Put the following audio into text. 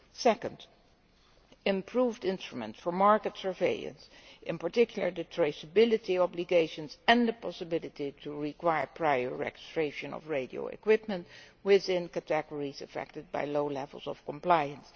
Secondly, improved instruments for market surveillance, in particular the traceability obligations and the possibility of requiring prior registration of radio equipment within the categories affected by low levels of compliance.